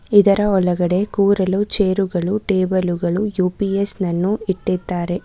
ಇದರ ಒಳಗಡೆ ಕೂರಲು ಚೇರುಗಳು ಟೇಬಲು ಗಳು ಯು_ಪಿ_ಎಸ್ ನನ್ನು ಇಟ್ಟಿದ್ದಾರೆ.